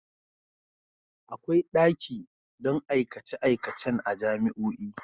Akwai daki don aikace-aikacen a jami'o'i.